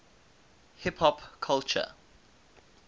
hip hop culture